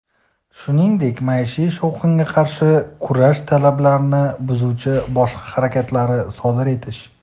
shuningdek maishiy shovqinga qarshi kurash talablarini buzuvchi boshqa harakatlarni sodir etish .